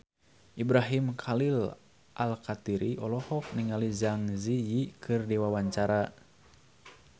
Ibrahim Khalil Alkatiri olohok ningali Zang Zi Yi keur diwawancara